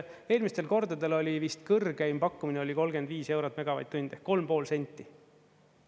Eelmistel kordadel oli vist kõrgeim pakkumine 35 eurot megavatt-tund ehk 3,5 senti.